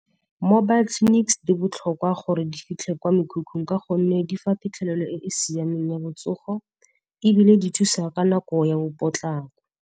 Mobile clinics di botlhokwa gore di fitlhe kwa mekhukhung ka gonne di fa phitlhelelo e e siameng ya botsogo, ebile di thusa ka nako ya bo potlako.